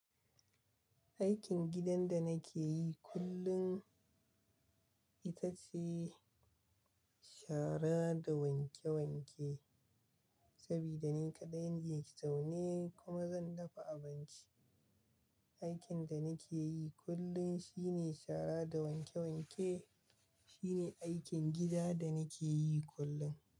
Aikin gidan da nake yi kullum ita ce shara da wanke wanke. Saboda ni kaɗai ne zaune kuma zan dafa abinci. Aikin da nake yi kullum shine shara da wanke wanke. Shine aikin gida da nake yi kullum.